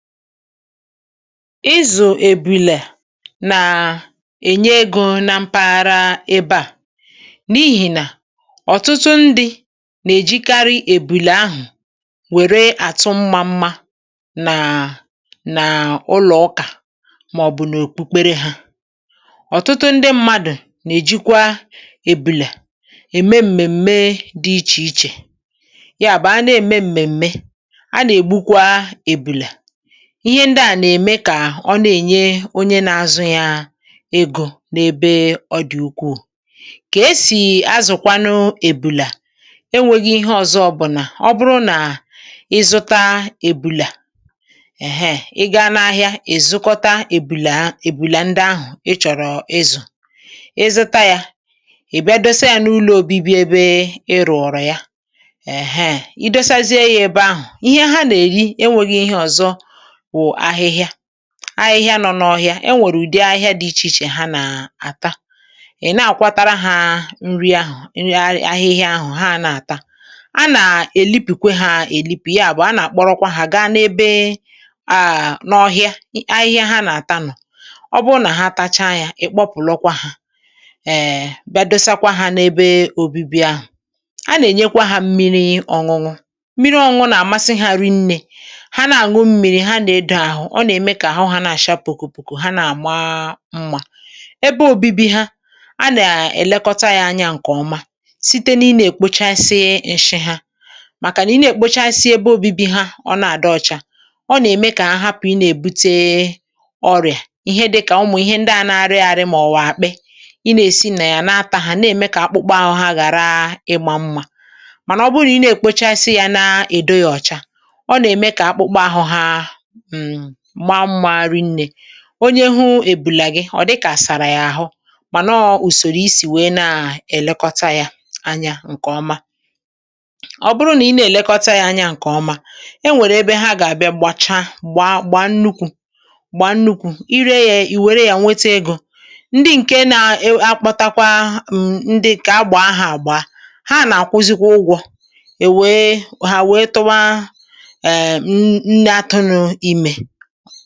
Ịzụ ebùlè na-ènye egò na mpaghara ebe à, n’ihi nà ọ̀tụtụ ndị na-èjikarị ebùlè ahụ̀ wèrè àtụ mmá mmá nà n’ụlọ̇ ọkà màọ̀bụ̀ n’òkpukpere hạ. Ọ̀tụtụ ndị mmadụ̀ na-èjikwa ebùlè ème mmèmme dị iche-iche, ya bụ̀ a na-ème mmèmme a, na-ègbukwa ebùlè. (ehm)Ihe ndị a na-ème kà ọ na-ènye onye na-azụ ya egò n’ebe ọ dị̀ ukwuù. Kà esi azụ̀kwanụ, ebùlè enwēghị ihe ọ̀zọ. Ọ bụ̀ nà ọ̀ bụrụ̀ nà ịzụta ebùlè, èhee ị gaa n’ahịa, èzukọta ebùlè-ébùlè ndị ahụ̀ ị chọ̀rọ̀ izù, ị zụta yà, ị̀ bịa dosa yà n’ụlọ̇ obíbi̇ ebe ị rụ̀ọ̀rọ̀ ya. Èhee, i dosazie yà ebe ahụ̀.Ihe ha nà-èri enwēghị ihe ọ̀zọ. Ahịhịa nọ n’ọhịa e nwèrè ụ̀dị ahịhịa dị iche-iche ha nà-àta è, na-àkwatara hạ nri ahụ̀. Ị rịa ahịhịa ahụ̀ ha nà-àta, a nà-èlìpìkwe hạ èlìpì, ya bụ̀ a nà-àkpọrọkwa hạ gaa n’ọhịa ahịhịa ha nà-àta nọ̀. um Ọ̀ bụrụ̀ nà ha tachaa yà, ị̀ kpọpụ̀lọkwa hạ, è bịa dosakwa hạ n’ebe òbibi ahụ̀.A nà-ènyekwa hạ mmiri ọ̇ṅụ̇. Mmiri ọ̇ṅụ̇ nà-àmasị hạrị nnē; ọ na-ème kà àhụ hạ na-àcha pùkùpùkù, ha nà-àma mmá. Ebe obibi ha a nà-èlekọta yà anya nke ọma site n’ịnà èkpochasị íshí hạ. Màkà nà, ị nà-èkpochasị ebe obibi ha, ọ na-àdị ọcha. Ọ nà-ème kà ahapụ̀ inà-èbute ọrịà, ihe dịkà ụmụ̀ ihe ndị ahụ̇ na-arịrị àrị, mà ọ̀wọ̀ àkpị inà-esi nà yà na-atahụ̀, inà-ème kà akpụkpọ ahụ̇ ha ghàra ịgbà mmá. Mànà ọ̀ bụrụ nà ịnà-èkpochasị yà, na-èdo yà ọ̀cha, ọ nà-ème kà akpụkpọ ahụ̇ ha onye hù ebùlè gị ọ̀ dịkà sàrà yà àhụ. hmm Mànọọ̇ ùsòrò isi wèe na-èlekọta yà anya nke ọma, ọ̀ bụrụ nà i nà-èlekọta yà anya nke ọma.E nwèrè ebe ha gà-àbịa gbàcha-gbaa-gbaa, nnukwu̇-gbaa-nnukwu̇. Ị ree yà, ì wèrè yà nweta egò. Ndị ǹke nà-akpụtakwa ndị kà agbà ahụ̀ àgba, ha à nà-àkwụzịkwa ụgwọ̇, e wee hà wee tụwa anọ̀.